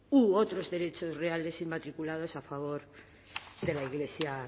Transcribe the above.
u otros derechos reales inmatriculados a favor de la iglesia